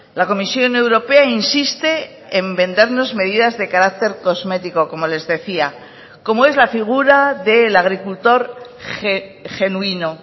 la comisión europea insiste en vendernos medidas de carácter cosmético como les decía como es la figura de la agricultor genuino